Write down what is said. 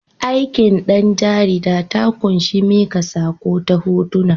Aikin ɗan jarida ta ƙunshi miƙa saƙo ta hotuna.